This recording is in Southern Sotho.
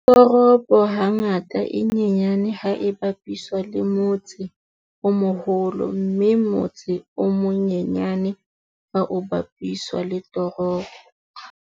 Toropo hangata e nyenyane ha e bapiswa le motse o moholo mme motse o monyenyane ha o bapiswa le toropo.